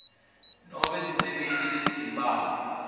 nobe sisebenti lesitimphawu